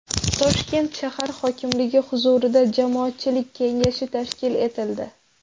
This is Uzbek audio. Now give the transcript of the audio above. Toshkent shahar hokimligi huzurida Jamoatchilik kengashi tashkil etildi.